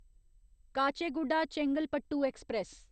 Kacheguda Chengalpattu express